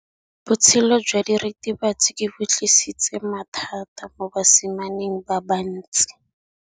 Botshelo jwa diritibatsi ke bo tlisitse mathata mo basimaneng ba bantsi.